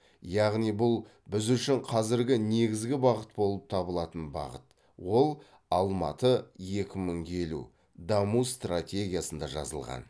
яғни бұл біз үшін қазір негізгі бағыт болып табылатын бағыт ол алматы екі мың елу даму стратегиясында жазылған